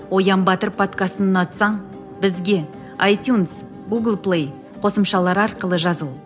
оян батыр подкастын ұнатсаң бізге айтюнс гулг плей қосымшалары арқылы жазыл